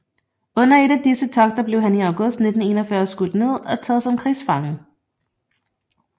Under et af disse togter blev han i august 1941 skudt ned og taget som krigsfange